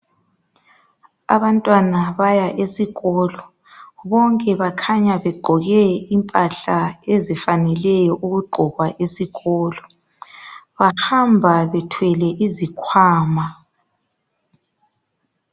Abantwana baya esikolo bonke bakhanya begqoke impahla ezifaneleyo ukugqokwa esikolo. Bahamba bethwele izikhwama.